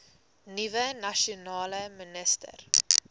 nuwe nasionale minister